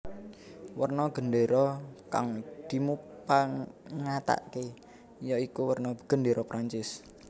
Werna gendéra kang dimupangatake ya iku werna Gendéra Perancis